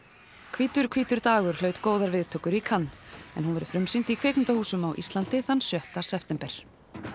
hvítur hvítur dagur hlaut góðar viðtökur í Cannes en hún verður frumsýnd í kvikmyndahúsum á Íslandi þann sjötta september